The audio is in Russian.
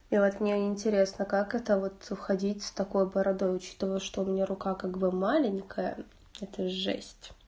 и вот мне интересно как это вот ходить с такой бородой учитывая что у меня рука как бы маленькая это жесть